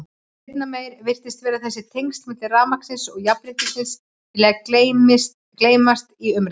Seinna meir virðist sem þessi tengsl milli rafmagnsins og jafnréttisins vilji gleymast í umræðunni.